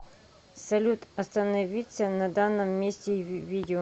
салют остановиться на данном месте в видео